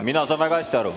Mina saan väga hästi aru.